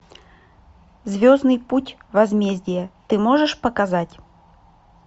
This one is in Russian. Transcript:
звездный путь возмездие ты можешь показать